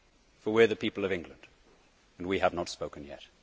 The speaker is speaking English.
For we are the people of England and we have not spoken yet.'